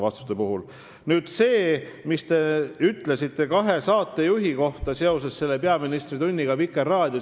Nüüd sellest, mida te ütlesite nende kahe saatejuhi kohta, kes Vikerraadios seda peaministri tundi juhtisid.